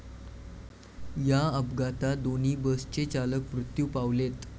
या अपघातात दोन्ही बसचे चालक मृत्यू पावलेत.